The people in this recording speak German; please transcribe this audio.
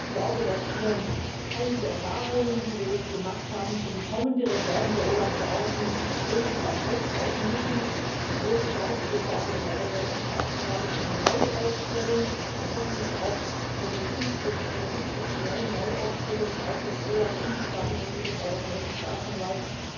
Ich glaube, dass wir einige Erfahrungen, die wir jetzt gemacht haben, für die kommende Reform der OLAF Verordnung wirklich auch aufgreifen müssen, die große Chance jetzt auch mit dem Europäischen Staatsanwalt und einer Neuaufstellung, und hoffentlich auch einer institutionellen Neuaufstellung auch des OLAF im Zusammenhang mit dem Europäischen Staatsanwalt.